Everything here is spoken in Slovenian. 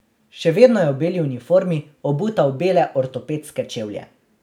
Še vedno je v beli uniformi, obuta v bele ortopedske čevlje.